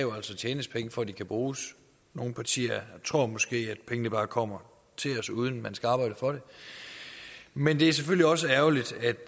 tjenes penge for at de kan bruges nogle partier tror måske at pengene bare kommer til os uden at man skal arbejde for det men det er selvfølgelig også ærgerligt at